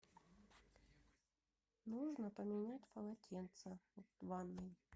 нужно поменять полотенце в ванной